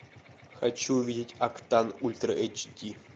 хочу увидеть октан ультра эйч ди